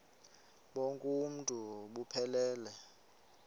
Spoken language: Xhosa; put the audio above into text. bonk uuntu buphelele